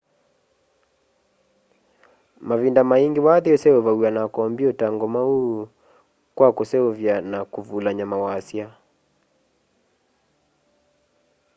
mavinda maingi wathi useuvaw'a na kompyuta ngomau kwa kuseuvya na kuvulany'a mawasya